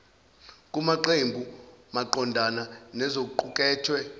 kwamaqembu maqondana nokuqukethwe